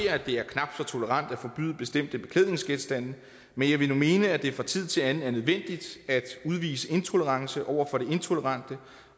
at det er knap så tolerant at forbyde bestemte beklædningsgenstande men jeg vil nu mene at det fra tid til anden er nødvendigt at udvise intolerance over for det intolerante